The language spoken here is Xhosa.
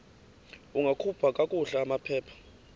ungakhupha kakuhle amaphepha